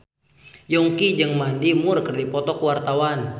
Yongki jeung Mandy Moore keur dipoto ku wartawan